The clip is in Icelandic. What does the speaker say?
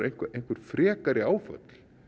einhver frekari áföll